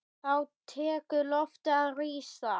Þá tekur loftið að rísa.